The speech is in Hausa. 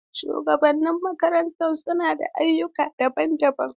Shugabannin makaranta suna da ayyuka daban-daban.